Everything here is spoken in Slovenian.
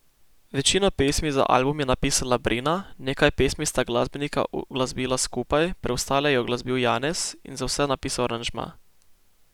Večino pesmi za album je napisala Brina, nekaj pesmi sta glasbenika uglasbila skupaj, preostale je uglasbil Janez in za vse napisal aranžma.